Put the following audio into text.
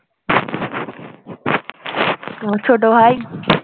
তোমার ছোট ভাই